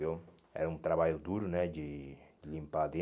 viu Era um trabalho duro né de de limpar ali.